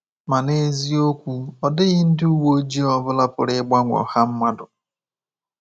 Ma n’eziokwu, ọ dịghị ndị uwe ojii ọ bụla pụrụ ịgbanwe ọha mmadụ.